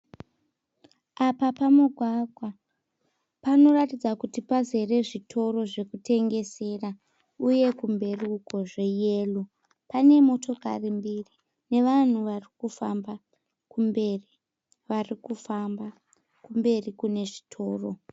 Apa pamugwagwa panoratidza kuti pazere zvitoro zvekutengesera uye kumberi uko zveyero. Pane motokari mbiri nevanhu vari kufamba kumberi. Vari kufamba kumberi kune zvitoro.